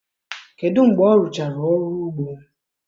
kedụ mgbe ọ rụchara ọrụ ugbo?